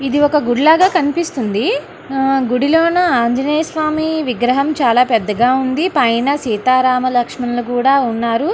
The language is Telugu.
ఇది ఒక గుడిలాగా కనిపిస్తుంది అహ్హ్ గుడిలోనా ఆంజనేయ స్వామి విగ్రహం చాలా పెద్దగా ఉంది పైన సీతారామలక్ష్మణులు కూడా ఉన్నారు.